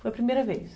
Foi a primeira vez.